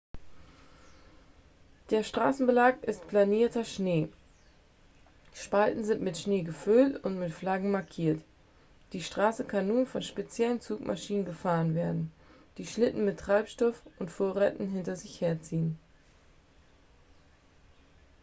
der straßenbelag ist planierter schnee spalten sind mit schnee gefüllt und mit flaggen markiert die straße kann nur von speziellen zugmaschinen befahren werden die schlitten mit treibstoff und vorräten hinter sich herziehen